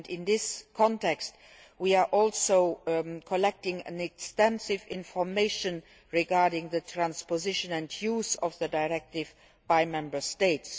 In this context we are also collecting extensive information regarding the transposition and use of the directive by Member States.